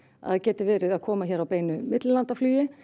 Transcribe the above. gæti verið að koma hér á beinu millilandaflugi